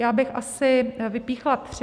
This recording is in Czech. Já bych asi vypíchla tři.